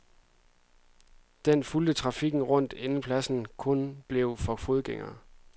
Den fulgte trafikken rundt, inden pladsen kun blev for fodgængere.